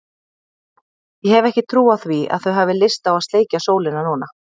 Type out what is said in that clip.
Ég hef ekki trú á því að þau hafi lyst á að sleikja sólina núna.